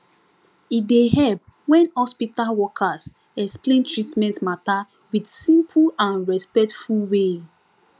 e dey help when hospital workers explain treatment matter with simple and respectful way